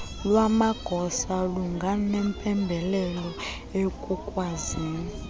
lwamagosa bunganempembelelo ekukwazini